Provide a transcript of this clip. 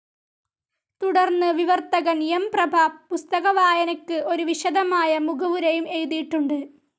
തുടർന്ന് വിവർത്തകൻ എം. പ്രഭ പുസ്തകവായനയ്ക്ക് ഒരു വിശദമായ മുഖവുരയും എഴുതിയിട്ടുണ്ട്.